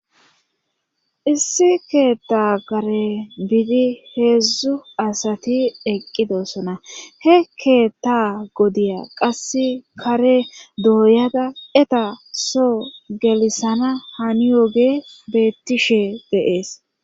Issi keetta kare biidi heedzdzu asati eqqidossona he keetta godiya qass kare dooyada eta so gelisana hani yoge beettishee de7ees.